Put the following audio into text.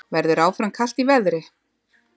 Verður áfram kalt í veðri